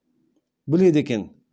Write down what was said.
біледі екен